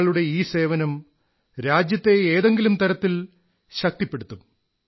നിങ്ങളുടെ ഈ സേവനം രാജ്യത്തെ ഏതെങ്കിലും തരത്തിൽ ശക്തിപ്പെടുത്തും